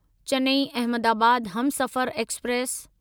Chennai Ahmedabad Humsafar express